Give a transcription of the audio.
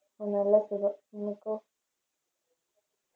ഒന്നുല്ല സുഖം ഇങ്ങക്കൊ